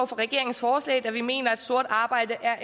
for regeringens forslag da vi mener at sort arbejde er